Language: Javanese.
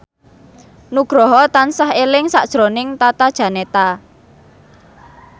Nugroho tansah eling sakjroning Tata Janeta